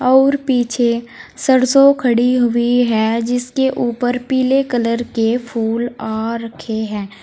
और पीछे सरसों खड़ी हुई है जिसके ऊपर पीले कलर के फूल आ रखे हैं।